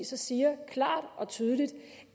så siger klart og tydeligt